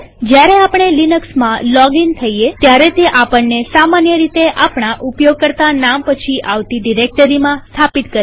જયારે આપણે લિનક્સમાં લોગઇન થઈએત્યારે તે આપણને સામાન્ય રીતે આપણા ઉપયોગકર્તા નામ પછી આવતી ડિરેક્ટરીમાં સ્થાપિત કરે છે